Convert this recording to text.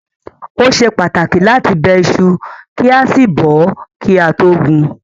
Ó ṣe pàtàkì láti bẹ iṣu kí a sì bọ̀ ọ́ kí a tó gún un.